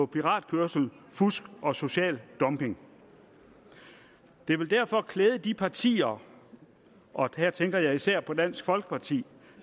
piratkørsel fusk og social dumping det ville derfor klæde de partier og her tænker jeg især på dansk folkeparti